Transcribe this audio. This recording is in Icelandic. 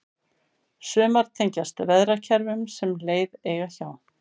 sumar tengjast veðrakerfum sem leið eiga hjá